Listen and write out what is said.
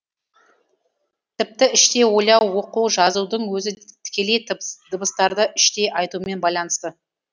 тіпті іштей ойлау оқу жазудың өзі тікелей дыбыстарды іштей айтумен байланысты